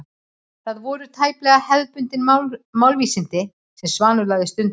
Það voru þó tæplega hefðbundin málvísindi sem Svanur lagði stund á.